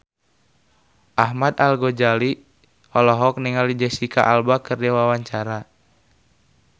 Ahmad Al-Ghazali olohok ningali Jesicca Alba keur diwawancara